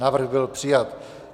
Návrh byl přijat.